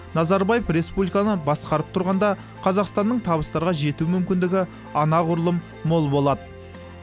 назарбаев республиканы басқарып тұрғанда қазақстанның табыстарға жету мүмкіндігі анағұрлым мол болады